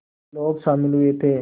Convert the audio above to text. लोग शामिल हुए थे